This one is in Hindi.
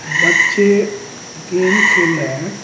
बच्चे गेम खेल रहे हैं।